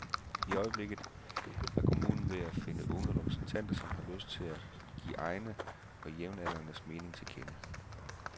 I øjeblikket er kommunen ved at finde unge repræsentanter, som har lyst til at give egne og jævnaldrendes mening til kende.